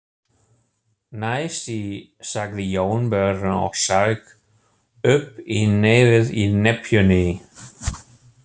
Næsti, sagði Jónbjörn og saug upp í nefið í nepjunni.